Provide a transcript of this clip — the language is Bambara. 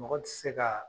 Mɔgɔ tɛ se ka